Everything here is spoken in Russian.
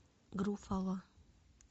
груффало